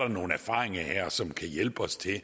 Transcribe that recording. nogle erfaringer som kan hjælpe os til